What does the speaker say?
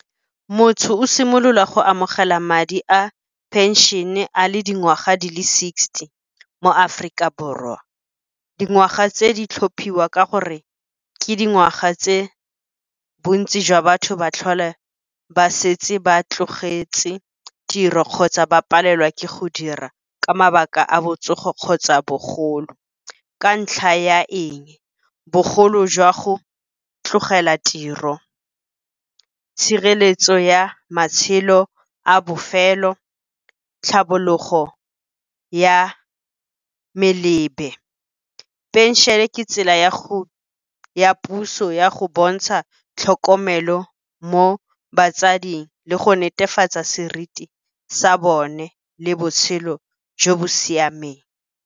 Motho o simolola go amogela madi a phenšene a le dingwaga di le sixty mo Aforika Borwa. Dingwaga tse di tlhophiwa ka gore ke dingwaga tse bontsi jwa batho ba tlhole ba setse ba tlogetse tiro kgotsa ba palelwa ke go dira ka mabaka a botsogo kgotsa bogolo. Ka ntlha ya eng? Bogolo jwa go tlogela tiro, tshireletso ya matshelo a bofelo, tlhabologo ya melebe. Phenšene ke tsela puso ya go bontsha tlhokomelo mo batsading le go netefatsa seriti sa bone le botshelo jo bo siameng.